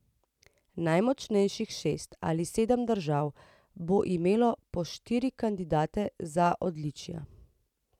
Najmočnejših šest ali sedem držav bo imelo po štiri kandidate za odličja.